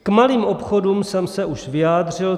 K malým obchodům jsem se už vyjádřil.